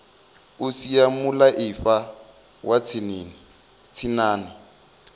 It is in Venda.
o sia mulaifa wa tshinnani